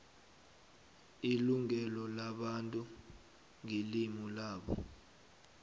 ilungelo labantu ngelimu labo